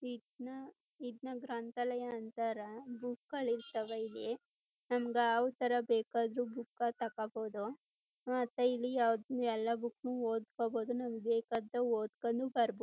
ಇದ್ನ ಇದ್ನ ಗ್ರಂತಾಲಯ ಅಂತರ ಬುಕ್ ಗಳ್ ಇರ್ತಾವೇ ಇಲ್ಲಿ ನಮ್ಗ್ ಯಾವ್ ಥರ ಬೇಕಾದ್ರು ಬುಕ್ಕಾ ಅಹ್ ತೋಕೋಬೋದು ಆ ಪ ಇಲ್ಲಿ ಯಾವ ಎಲ್ಲ ಬೂಕ್ನ್ನು ಓದ್ಕೊಬೋದು ನಮ್ಗ್ ಬೇಕಾದಾಗ ಓದ್ಕೊಂಡ್ ಬಾರ್ಬ್--